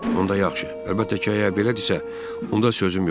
Onda yaxşı, əlbəttə ki, əgər belədirsə, onda sözüm yoxdur.